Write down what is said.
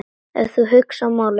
Ef þú hugsar málið.